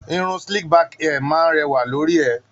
Irun slick back hair máa ń rẹwà lórí ẹ.